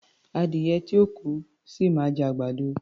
Adìyẹ tí ò kú, ṣì máa jẹ àgbàdo.